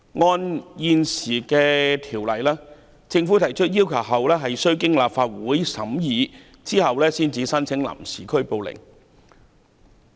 按照現行條例，在政府提出要求後，經立法會審議後才能申請臨時拘捕令。